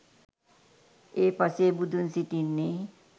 ඒ පසේ බුදුන් සිටින්නේ